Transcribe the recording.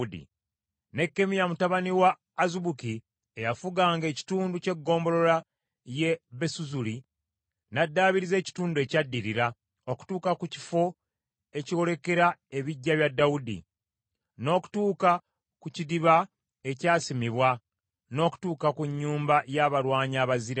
Nekkemiya mutabani wa Azubuki eyafuganga ekitundu ky’eggombolola y’e Besuzuli n’addaabiriza ekitundu ekyaddirira okutuuka ku kifo ekyolekera ebiggya bya Dawudi, n’okutuuka ku kidiba ekyasimibwa, n’okutuuka ku Nnyumba y’Abalwanyi Abazira.